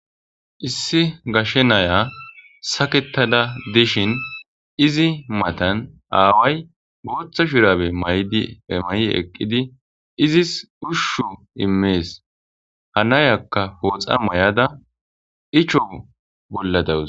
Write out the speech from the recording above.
Issi gashe na7iya sakettada dishin izi matan aaway buutha shuraabe mayidi ee mayi eqqidi izis ushahu immees. Ha na7iyakka fooxa may7ada Icho bolla daws.